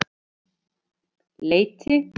Leiti